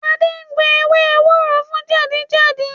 Ade gbo ewé ewúro fún jẹ̀dí jẹ̀jí